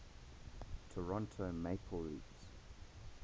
toronto maple leafs